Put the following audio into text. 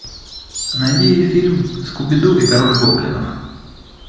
найди фильм скуби ду и король гоблинов